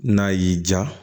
N'a y'i diya